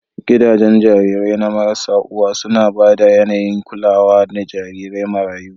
Gidajen jarirai marasa uwa suna ba da yAnayin kulawa ga jarirai marayu